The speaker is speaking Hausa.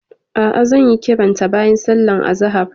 A'a, zan yi kiranta bayan sallar azahar.